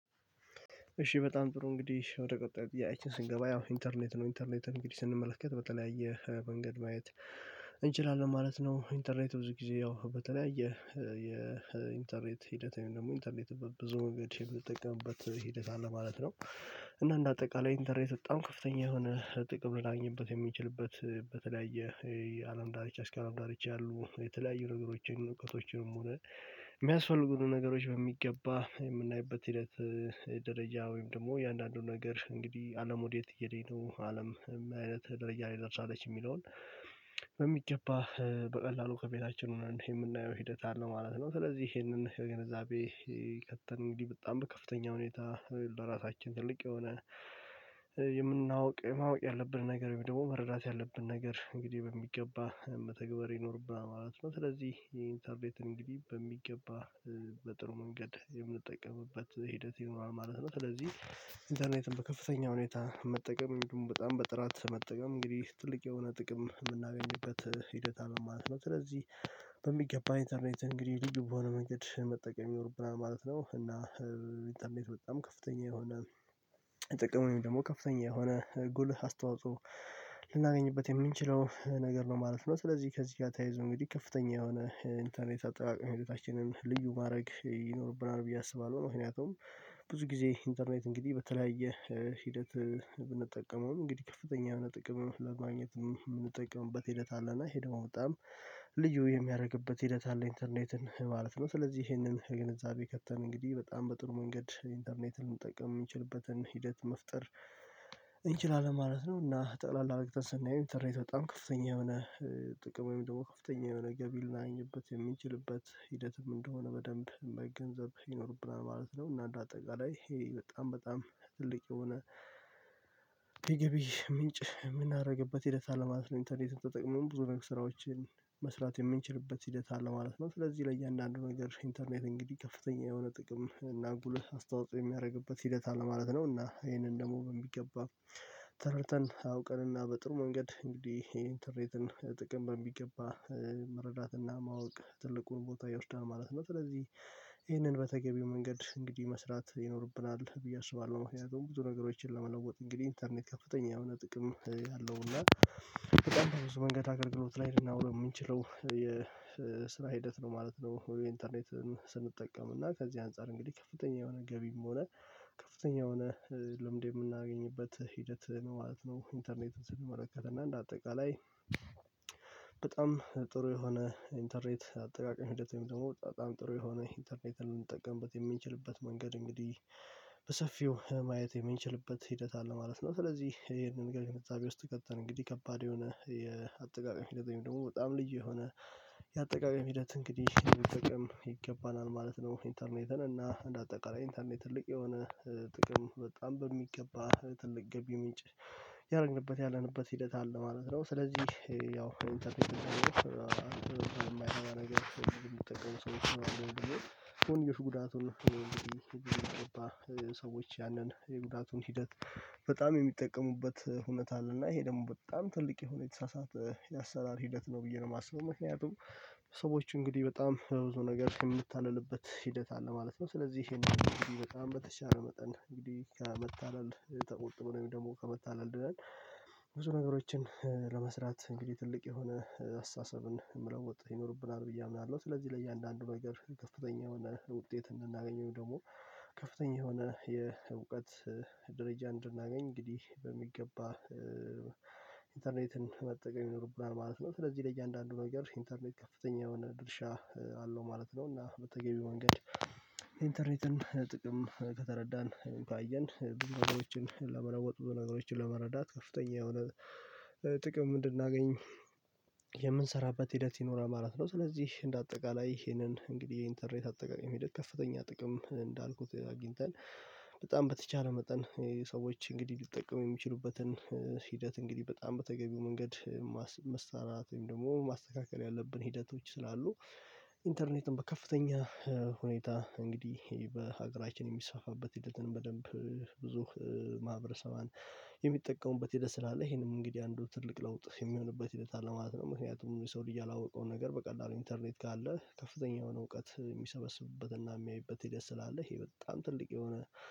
እሺ በጣም ጥሩ እንግዲህ ወደ ቀጣዩ ጥያቄ ስንገባ ያው ኢንተርኔት ነው ኢንተርኔትን እንግዲህ ስንመለከት በተለያየ መንገድ ማየት እንችላለን ማለት ነው ኢንተርኔት ብዙ ጊዜ ያው በተለያየ ሂደት ወይም አንተርኔት ሂደት ወይም ደግሞ ኢንተርኔት በብዙ መንገድ የምትጠቀምበት ሂደት አለ ማለት ነው። እና እንደ አጠቃላይ ኢንተርኔት በጣም ከፍተኛ የሆነ ጥቅም ልናገኝበት የሚችልበት በተለያየ የአለም ዳርቻ እስከ አለም ዳርቻ ያሉ የተለያዩ ንገሮችን እውቀቶችንም ሆነ የሚያስፈልጉን ነገሮች በሚገባ የምናይበት ሂደት ደረጃ ወይም ደግሞ አየአንዳንዱ ነገር እንግዲህ አለም ወዴት እየሄደኝ ነው አለም አይነት ደረጃ ላይ ደርሳለች የሚለውን በሚገባ በቀላሉ ከቤታችን ሆነን የምናየው ሂደት አለ ማለት ነው። ስለዚህ ይሄንን ግንዛቤ ከተ አንግድህ በጣም በከፍተኛ ሁኔታ ለራሳችን ትልቅ የሆነ የምናውቀው ማወቅ ያለብን ነገር ወይም ደግሞ መረዳት ያለብን ነገር እንግዲህ በሚገባ መተግበር ይኖርብናል ማለት ነው። ስለዚህ ኢንተርኔትን እንግዲህ በሚገባ በጥሩ መንገድ የምንጠቀምበት ሂደት ይኖራል ማለት ነው። ስለዚህ ኢንተርኔትን በከፍተኛ ሁኔታ መጠቀም ወይም ደግሞ በጣም በጥራት መጠቀም እንግዲህ ትልቅ የሆነ ጥቅም የምናገኝበት ሂደት አለ ማለት ነው። ስለዚህ በሚገባ ኢንተርኔት እንግዲህ ልዩ በሆነ መንገድ መጠቀም ይኖርብናል ማለት ነው። እና ኢንተርኔት በጣም ከፍተኛ የሆነ ጥቅምን ወይም ደግሞ ከፍተኛ የሆነ ጉልህ አስተዋጽኦ ልናገኝበት የምንችለው ነገር ነው ማለት ነው። ስለዚህ ከዚህ ጋር ተያይዞ እንግዲህ ከፍተኛ የሆነ ኢንተርኔት አጠቃቀም ህይወታችንን ልዩ ማድረግ ይኖርብናል ብዬ አስባለው ምክንያቱም ብዙ ጊዜ ኢንተርኔት እንግዲህ በተለያየ ሂደት ብንጠቀመው እንግዲህ ከፍተኛ የሆነ ጥቅም ለማግኘት የምንጠቀምበት ሂደት አለና ይሄ ደግሞ በጣም ልዩ የሚያደርግበት ሂደት አለ ኢንተርኔትን ማለት ነው። ስለዚህ ይሄንን ግንዛቤ ከተን እንግዲህ በጣም በጥሩ መንገድ አንተርኔትን ልንጠቀም የምንችልበትን ሂደት መፍጠር እንችላለን ማለት ነው። እና ጠቅላላ አረግተን ስናይ አንተርኔት በጣም ከፍተኛ የሆነ ጥቅሙ የሚደውል ከፍተኛ የሆነ ገቢ ልናገኝበት የምንችልበት ሂደትም እንደሆነ በደንብ መገንዘብ ይኖርብናል ማለት ነው። እና አንድ አጠቃላይ ይሄ በጣም ትልቅ የሆነ የገቢ ምንጭ የምናደርግበት ሂደት አለ ማለት ነው ኢንተርኔትን ተጠቅመን ብዙ ነገር ስራዎችን መስራት የምንችልበት ሂደት አለ ማለት ነው። ስለዚህ ለእያንዳንዱ ነገር ኢንተርኔት እንግዲህ ከፍተኛ የሆነ ጥቅም እና ጉልህ አስተዋጽኦ የሚያደርግበት ሂደት አለ ማለት ነው። እና ይሄንን ደግሞ በሚገባ ተረድተን አውቀንና በጥሩ መንገድ እንግዲህ ኢንተርኔትን ጥቅም በሚገባ መረዳትና ማወቅ ትልቁን ቦታ ይወስዳል ማለት ነው። ስለዚህ ይህንን በተገቢው መንገድ እንግዲህ መስራት ይኖርብናል ብዬ አስባለው ምክንያቱም ብዙ ነገሮችን ለመለወጥ እንግዲህ ኢንተርኔት ከፍተኛ የሆነ ጥቅም ያለው እና በጣም በብዙ መንገድ አገልግሎት ላይ ልናወራ የምንችለው የስነ ሂደት ነው ማለት ነው። ኢንተርኔት ስንጠቀም እና ከዚህ አንፃር እንግዲህ ከፍተኛ የሆነ ገቢም ሆነ ከፍተኛ የሆነ ልምድ የምናገኝበት ሂደት ማለት ነው። ኢንተርኔትን ስንመለከት እና እንደ አጠቃላይ በጣም ጥሩ የሆነ ኢንተርኔት አጠቃቀም ህደት ወይም ደግሞ በጣም ጥሩ የሆነ ኢንተርኔትን ልንጠቀምበት የምንችልበት መንገድ እንግዲህ በሰፊው ማየት የምንችልበት ሂደት አለ ማለት ነው። ስለዚህ ይሄንን ገንዛቤ ውስጥ ከተን እንግዲህ ከባድ የሆነ የአጠቃቀም ሂደት ወይም ደግሞ በጣም ልዩ የሆነ የአጠቃቀም ሂደት እንግዲህ ይገባናል ማለት ነው ኢንተርኔትን እና እንደ አጠቃላይ ኢንተርኔት ትልቅ የሆነ ጥቅም በጣም በሚገባ ትልቅ ገቢ ምንጭ ያደረግንበት ያለንበት ሂደት አለ ማለት ነውነው። ስለዚህ ያው ኢንተርፕረነር የማይሆን ነገር የሚጠቀሙ ሰዎች ነው የሚለው እኮ እንግዲህ ጉዳቱን እኮ እንግዲህ ሰዎች ያንን የጉዳቱን ሂደት በጣም የሚጠቀሙበት ሁኔታ አለና ይሄ ደግሞ በጣም ትልቅ የሆነ የተሳሳተ የአሰራር ሂደት ነው ብዬ ነው የማስበው። ምክንያቱም ሰዎች እንግዲህ በጣም በብዙ ነገር የምንልልበት ሂደት አለ ማለት ነው። ስለዚህ ይሄንን በጣም በተቻለ መጠን እንግዲህ ከመታለል ተቆጥቦ ነው ወይም ደግሞ ከመታለል ድነን ብዙ ነገሮችን ለመስራት እንግዲህ ትልቅ የሆነ አስተሳሰብን መለወጥ ይኖርብናል ብዬ አምናለሁ ስለዚህ ለእያንዳንዱ ነገር ከፍተኛ የሆነ ውጤት እንድናገኝ ወይም ደግሞ ከፍተኛ የሆነ የእውቀት ደረጃ እንድናገኝ እንግዲህ በሚገባ ኢንተርኔትን መጠቀም ይኖርብናል ማለት ነው። ስለዚህ ለእያንዳንዱ ነገር ኢንተርኔት ከፍተኛ የሆነ ድርሻ አለው ማለት ነው። እና በተገቢው መንገድ አንተርነትን ጥቅም ከተረዳን ካየን ብዙ ነገሮችን ለመለወጥ ብዙ ነገሮችን ለመረዳት ከፍተኛ የሆነ ጥቅም እንድናገኝ የምንሰራበት ሂደት ይኖራል ማለት ነው ስለዚህ እንደ አጠቃላይ ይሄንን እንግዲህ የኢንተርኔት አጠቃቀም ሂደት ከፍተኛ ጥቅም እንዳልኩት አግኝተን በጣም በተቻለ መጠን ሰዎች እንግዲህ ሊጠቀሙ የሚችሉበትን ሂደት እንግዲህ በጣም በተገቢው መንገድ መሳራት ወይም ደግሞ ማስተካከል ያለብን ሂደቶች ስላሉ ኢንተርኔትን በከፍተኛ ሁኔታ እንግዲህ በሀገራችን የሚሳፋበት ሂደትን በደንብ ብዙ ማህበረሰባን የሚጠቀሙበት ሂደት ስላለ ይሄንም እንግዲህ አንዱ ትልቅ ለውጥ የምንለውበት ሂደት አለ ማለት ነው። ምክንያቱም ሰው ልጅ ያላወቀው ነገር በቀላሉ ኢንተርኔት ካለ ከፍተኛ የሆነ እውቀት የሚሰበስብበትና የሚያይበት ሂደት ስላለ ይሄ በጣም ትልቅ የሆነ